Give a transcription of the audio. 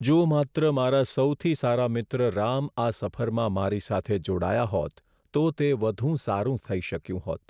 જો માત્ર મારા સૌથી સારા મિત્ર રામ આ સફરમાં મારી સાથે જોડાયા હોત તો તે વધુ સારું થઈ શક્યું હોત.